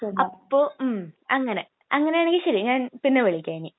അപ്പൊ..അങ്ങനെയാണെങ്കിൽ ശരി, ഞാൻ പിന്നെ വിളിക്കാം ഇനി.